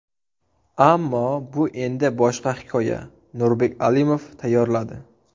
Ammo bu endi boshqa hikoya... Nurbek Alimov tayyorladi.